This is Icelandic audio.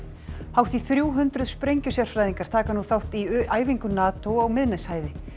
hátt í þrjú hundruð sprengjusérfræðingar taka nú þátt í æfingu NATO á Miðnesheiði